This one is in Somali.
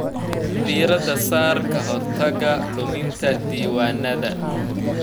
Diirada saar ka hortagga luminta diiwaannada.